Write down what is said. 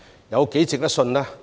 有多值得信賴呢？